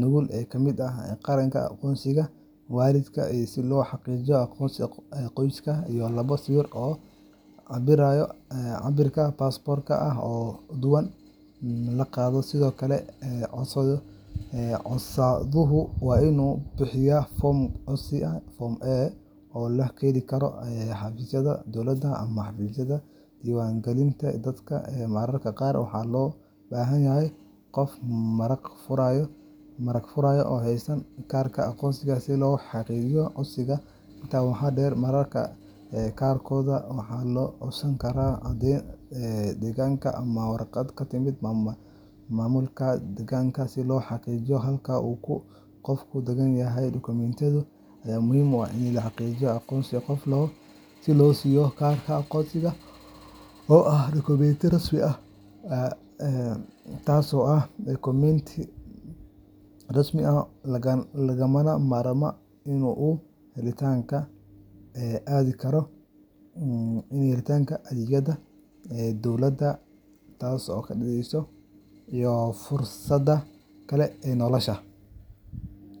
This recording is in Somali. nuqul ka mid ah kaarka aqoonsiga waalidka si loo xaqiijiyo aqoonsiga qoyska, iyo labo sawir oo cabbirka baasaboorka ah oo dhawaan la qaaday. Sidoo kale, codsaduhu waa inuu buuxiyaa foomka codsiga (Form A) oo laga heli karo xafiisyada dowladda ama xafiisyada diiwaangelinta dadka, mararka qaarna waxaa loo baahan yahay qof marag-furaya oo haysta kaarka aqoonsiga si loo xaqiijiyo codsiga. Intaa waxaa dheer, mararka qaarkood waxaa la codsan karaa caddeyn deegaanka ama warqad ka timid maamulka deegaanka si loo xaqiijiyo halka uu qofku degan yahay. Dukumiintiyadan ayaa muhiim u ah in la xaqiijiyo aqoonsiga qofka si loo siiyo kaarka aqoonsiga oo ah dukumiinti rasmi ah oo lagama maarmaan u ah helitaanka adeegyada dowladda iyo fursadaha kale ee nolosha.